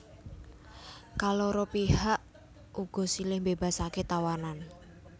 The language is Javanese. Kaloro pihak uga silih mbébasaké tawanan